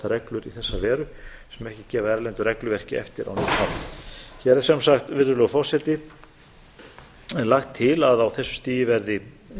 reglur í þessa veru sem ekki gefa erlendu regluverki eftir á neinn hátt virðulegur forseti hér er sem sagt lagt til að á þessu stigi verði